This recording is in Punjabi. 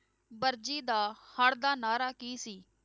ਵਰਜੀ ਦਾ ਹਰ ਦਾ ਨਾਅਰਾ ਕੀ ਸੀ?